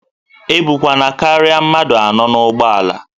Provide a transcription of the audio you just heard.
E bukwana karịa mmadụ anọ n'ụgbọala!